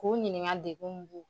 K'u ɲininka degun mun b'u la.